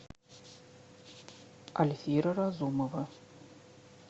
альфира разумова